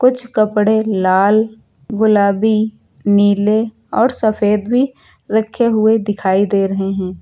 कुछ कपड़े लाल गुलाबी नीले और सफेद भी रखे हुए दिखाई दे रहे हैं।